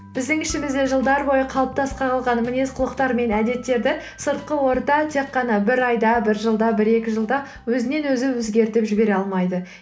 біздің ішімізде жылдар бойы қалыптаста қалған мінез құлықтар мен әдеттерді сыртқы орта тек қана бір айда бір жылда бір екі жылда өзінен өзі өзгертіп жібере алмайды